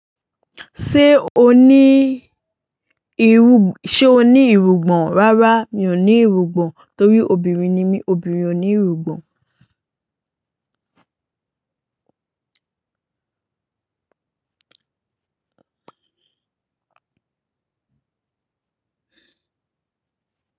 Ṣé o ní ìrú, ṣe o ní ìrúgbọn? Rárá mi ò ní ìrúgbọn torí obìnrin ni mí, obìnrin ò kii ní ìrúgbọn.